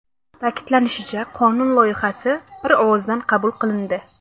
Ta’kidlanishicha, qonun loyihasi bir ovozdan qabul qilindi.